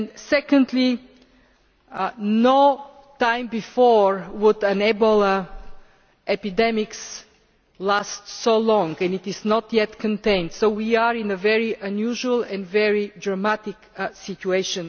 Secondly, at no time before has an Ebola epidemic lasted so long, and it is not yet contained. So we are in a very unusual and very dramatic situation.